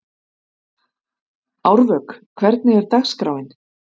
Árvök, hvernig er dagskráin?